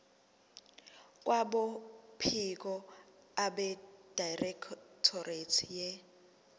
kwabophiko abedirectorate ye